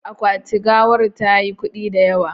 Akwati gawar tayi kudi da yawa